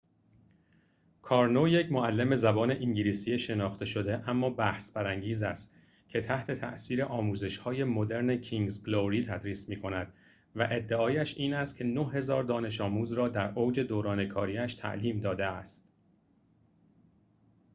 کارنو یک معلم زبان انگلیسی شناخته شده اما بحث‌برانگیز است که تحت‌تاثیر آموزش‌های مدرن کینگز گلوری تدریس می‌کند و ادعایش این است که ۹۰۰۰ دانش آموز را در اوج دوران کاری‌اش تعلیم داده است